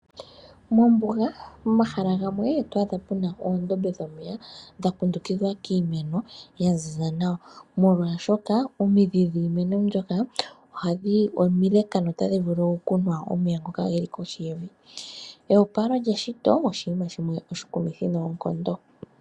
Mombuga momahala gamwe otwaadha muna oondombe dhomeya dha kundukithwa kiimeno ya ziza nawa molwashoka omidhi dhiimeno mbyoka omileka no tadhi vulu okunwa omeya ngoka ge li kohi yevi. Eyepalo lyeshito oshinima oshiwa noshikumithi neenkondo